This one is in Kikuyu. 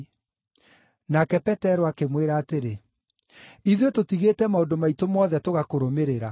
Nake Petero akĩmwĩra atĩrĩ, “Ithuĩ tũtigĩte maũndũ maitũ mothe tũgakũrũmĩrĩra!”